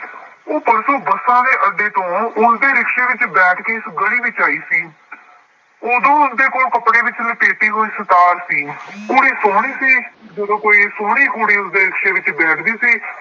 ਉਹ ਪਰਸੋਂ ਬੱਸਾਂ ਦੇ ਅੱਡੇ ਤੋਂ ਉਸਦੇ ਰਿਕਸ਼ੇ ਵਿੱਚ ਬੈਠ ਕੇ ਇਸ ਗਲੀ ਵਿੱਚ ਆਈ ਸੀ। ਉਦੋਂ ਉਸਦੇ ਕੋਲ ਕੱਪੜੇ ਵਿੱਚ ਲਪੇਟੀ ਹੋਈ ਸਿਤਾਰ ਸੀ। ਕੁੜੀ ਸੋਹਣੀ ਸੀ। ਜਦੋਂ ਕੋਈ ਸੋਹਣੀ ਕੁੜੀ ਉਸਦੇ ਰਿਕਸ਼ੇ ਵਿੱਚ ਬੈਠਦੀ ਸੀ।